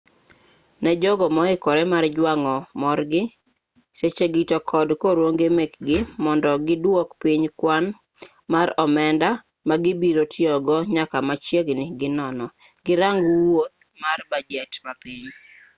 ne jogo moikore mar jwang'o morgi sechegi to kod korruoge mekgi mondo giduok piny kwan mar omenda ma gibiro tiyogo nyaka machiegni gi nono girang wuoth mar bajet mapiny